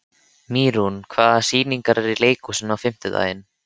Mýrún, hvaða sýningar eru í leikhúsinu á fimmtudaginn?